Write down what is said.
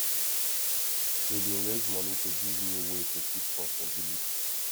we bin raise money to give new way to keep crop for village